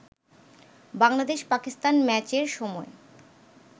বাংলাদেশ-পাকিস্তান ম্যাচের সময়